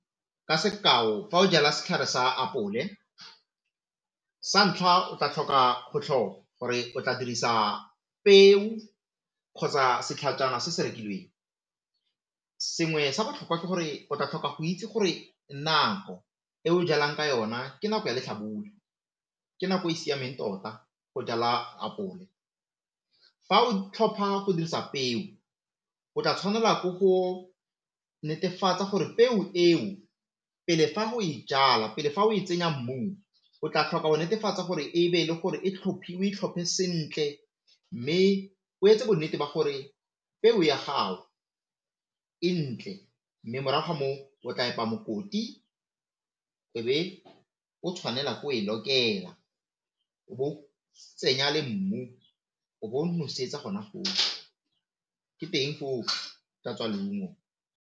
Ka sekao fa o jala setlhare sa apole, sa ntlha o tla tlhopha gore o tla dirisa peo kgotsa setlhajana se se rekilweng sengwe sa botlhokwa ke gore o tla tlhoka go itse gore nako e o jalang ka yona ke nako ya latlhabula, ke nako e e siameng tota go jala apole. Fa o tlhopha go dirisa peo, o tla tshwanela ke go netefatsa gore peo eo pele fa o e jala pele fa o e tsenya mmung, o tla tlhoka go netefatsa gore o e tlhophe sentle mme o fa bonnete ba gore peo ya gago, e ntle mme morago ga moo o tla epa mokoti o be o tshwanela ke go e lokela o bo o tsenya le mmu o bo o nosetsa gona foo, ke teng foo go ka tswa leungo.